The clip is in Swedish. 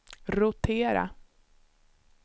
rotera